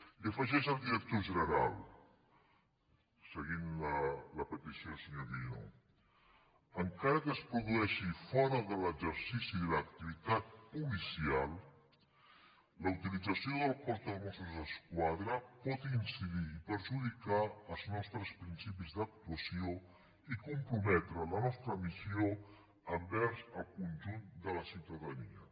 i hi afegeix el director general seguint la petició del senyor guinó encara que es produeixi fora de l’exercici de l’activitat policial la utilització del cos de mossos d’esquadra por incidir i perjudicar els nostres principis d’actuació i comprometre la nostra missió envers el conjunt de la ciutadania